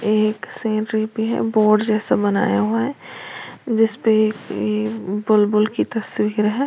ये एक सीनरी भी है बोर्ड जैसा बनाया हुआ है जिस पे बुलबुल की तस्वीर है।